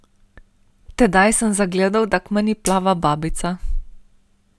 Tedaj sem zagledal, da k meni plava babica.